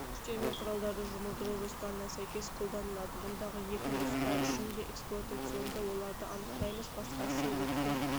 күштермен құралдарды жұмылдыру жоспарына сәйкес қолданылады мұндағы екі нұсқа үшін де эксплуатационды оларды анықтаймыз басқасы өрттің